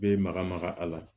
Bɛ maga maga a la